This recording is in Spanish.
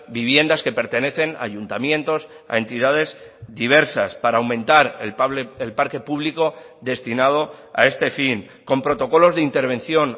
viviendas que pertenecen a ayuntamientos a entidades diversas para aumentar el parque público destinado a este fin con protocolos de intervención